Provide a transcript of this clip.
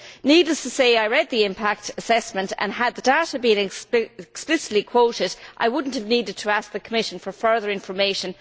Needless to say, I read the impact assessment and, had the data been explicitly quoted, I would not have needed to ask the Commission for further information.